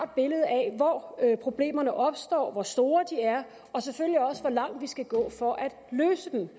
billede af hvor problemerne opstår hvor store de er og selvfølgelig også hvor langt vi skal gå for at løse dem